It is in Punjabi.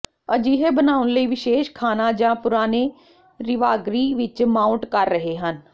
ਅਜਿਹੇ ਬਣਾਉਣ ਲਈ ਵਿਸ਼ੇਸ਼ ਖਾਣਾ ਜ ਪੁਰਾਣੇ ਰਾਿਵਗਰੀ ਵਿੱਚ ਮਾਊਟ ਕਰ ਰਹੇ ਹਨ